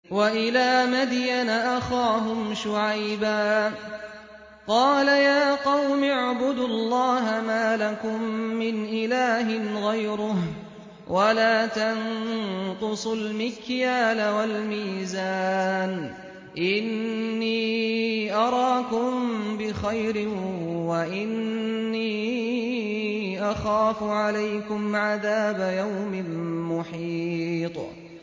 ۞ وَإِلَىٰ مَدْيَنَ أَخَاهُمْ شُعَيْبًا ۚ قَالَ يَا قَوْمِ اعْبُدُوا اللَّهَ مَا لَكُم مِّنْ إِلَٰهٍ غَيْرُهُ ۖ وَلَا تَنقُصُوا الْمِكْيَالَ وَالْمِيزَانَ ۚ إِنِّي أَرَاكُم بِخَيْرٍ وَإِنِّي أَخَافُ عَلَيْكُمْ عَذَابَ يَوْمٍ مُّحِيطٍ